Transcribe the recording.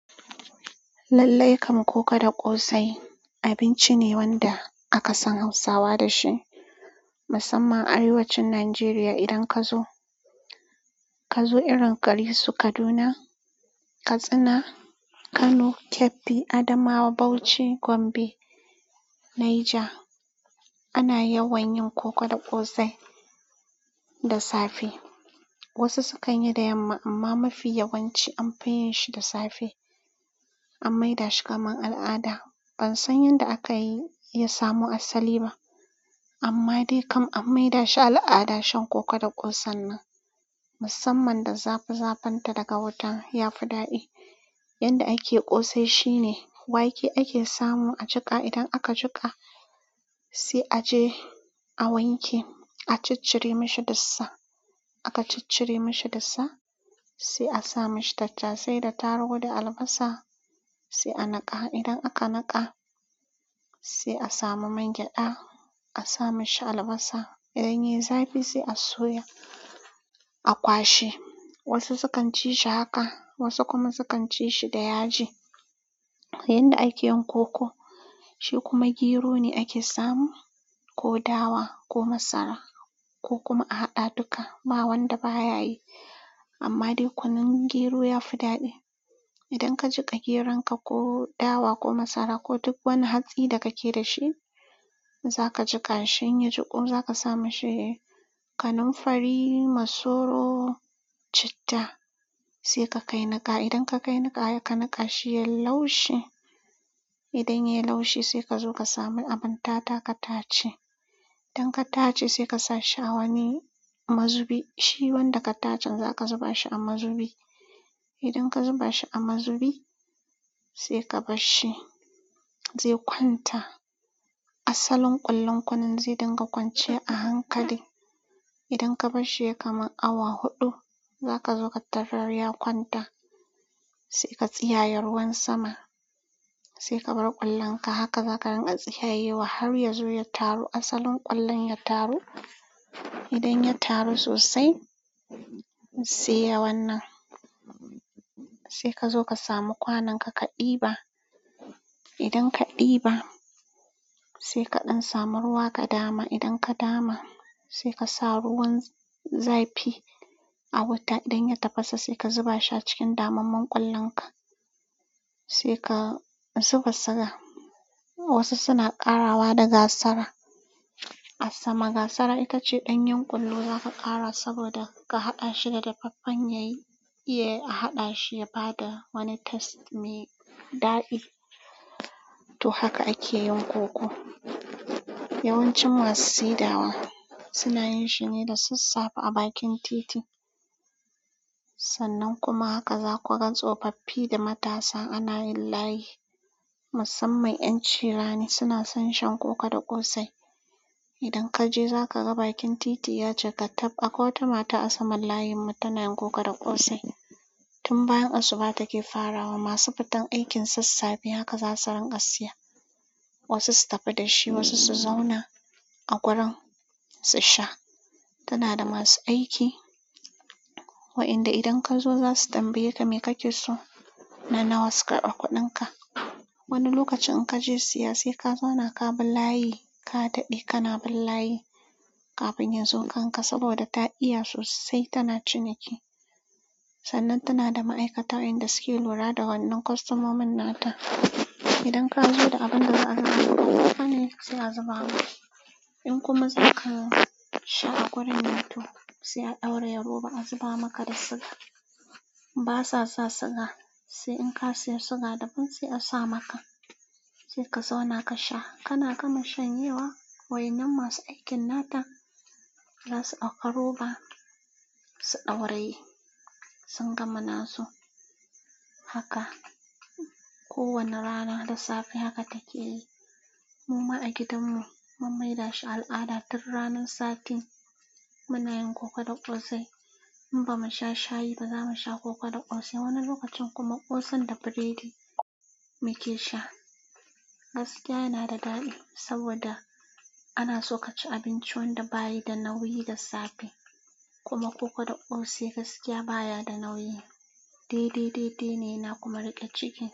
Lallai kam, koko da ƙosai abinci ne wanda aka san Hausawa da shi, musamman a arewacin Najeriya. Idan ka zo, ka zo irin garisu Kaduna, Katsina, Kano, Kebbi, Adamawa, Bauchi, Gombe, Naija, ana yawan yin koko da ƙosai da safe. Wasu sukan yi da yamma, amma mafi yawanci an fi yin shi da safe. An maida shi kamar al'ada. Ban san yadda aka yi samu asali ba, amma dai kam an maida shi al'ada shan koko da ƙosan nan, musamman da zafi-zafinta daga wuta ya fi daɗi. Yanda ake ƙosai shine wake ake samu a jika. Idan aka jika se aje a wanke a ciccire mishi dussa aka ciccire mashi dussa, sai a sa mashi tattasai da targu da albasa, sai a niƙa. Idan aka niƙa, sai a samu man gyaɗa, a sa mashi albasa. Idan yayi zafi sai a soya a kwashe wasu sukan ci shi haka, wasu kuma sukan ci shi da yaji. Yanda ake yin koko, shi kuma gero ne ake samu ko dawa ko masara ko kuma a haɗa dukka, ba wanda ba ya yi. Amma dai kunun gero ya fi daɗi. Idan ka jika geron ka ko dawa ko masara ko duk wani hatsi da kake da shi, za ka jika shi, in ya jiku, za ka sa mashi kanamfari, masoro, citta, sai ka kai niƙa. Idan ka kai niƙa sai ka niƙa shi yayi laushe, idan yayi laushe sai ka zo ka sami abin tata ka tace. Idan ka tace, sai ka sa shi awanni mazubi, shi wanda ka tacen za ka zuba shi a mazubi. Idan ka zuba shi a mazubi, sai ka bar shi zai kwanta. Asalin ƙwallon kunun zai dinga kwance a hankali. Idan ka bar shi yayi kamar awa huɗu, za ka zo ka tarar ya kwanta, sai ka tsiyaye ruwan sama, sai ka bar ƙwallon ka. Haka za ka rinƙa tsiyayewa har ya zo ya taru asalin ƙwallon ya taru. Idan ya taru sosai, sai yawan nan, sai ka zo ka samu kwanon ka, ka ɗiba. Idan ka ɗiba, sai kaɗan samu ruwa ka dama. Idan ka dama, sai ka sa ruwan zafi a wuta. Idan ya tafasa, sai ka zuba shi a cikin damammen ƙwallon ka, sai ka zuba siga. Wasu suna ƙarawa da gasara. A sama gasara ita ce ɗanyen ƙwallo za ka ƙara saboda ka haɗa shi da dafaffen ya yi, iya a haɗa shi ya ba da wani taste mai daɗi. To, haka ake yin koko. Yawancin masu sedawa suna yin shi ne da sassafe a bakin titi. Sannan kuma haka za ku ga tsofaffi da matasa ana yin layi. Musamman ƴan cirani suna son shan koko da ƙosai. Idan ka je za ka ga bakin titi ya cika tab akwai wata mata a saman layinmu tana yin koko da ƙosai. Tun bayan asuba take farawa. Masu fitan aikin sassafe haka za su rinƙa siya. Wasu su tafi da shi, wasu su zauna a gurin su sha. Tana da masu aiki wa'inda idan ka zo za su tambaye ka me kake so na nawa su ƙarɓa kuɗin ka. Wani lokacin in ka je siya sai ka zauna ka bi layi ka daɗe kana bin layi kafin ya zo kan ka saboda ta iya sosai tana ciniki. Sannan tana da ma'aikata wayanda suke lura da wannan kostomomin nata. Idan ka zo da abin da za a haɗa maka kanin ki sai a zuba. In kuma za ka sha a gurin nata, sai a ɗauraye roɓa a zuba maka da siga. Basa sa siga, sai in ka siya siga daban sai a sa maka. Sai ka zauna ka sha. Kana gama shan yewa wa innan masu aikin nata za su ɗauka roba su ɗauraye sun gama nasu. Haka ko wani rana da safe haka take yi. Muma a gidanmu mun maida shi al'ada. Tun ranan satin muna yin koko da ƙosai. In ba mu sha shayi ba, za mu sha koko da ƙosai. Wani lokacin kuma ƙosan da biredi muke sha. Gaskiya yana da daɗi saboda ana so ka ci abinci wanda bayi da nauyi da safe. Kuma koko da ƙosai gaskiya baya da nauyi. Dede, dede ne yana kuma riƙe ciki.